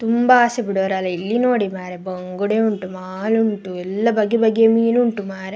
ತುಂಬಾ ಆಸೆ ಬಿಡೋರ್ ಅಲ್ಲ ಇಲ್ಲಿ ನೋಡಿ ಮಾರೆ. ಬಂಗುಡೆ ಉಂಟು ಮಾಲು ಉಂಟು ಎಲ್ಲ ಬಗೆಬಗೆಯ ಮೀನು ಉಂಟು ಮಾರೆ.